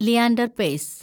Leander pace